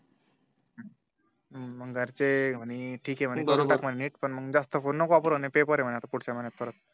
हम्म मग घरचे म्हणे ठीक आहे म्हणे करून टाक म्हणे नीट जास्त फोन नको वापरू पेपर आहे पुढच्या महिन्यात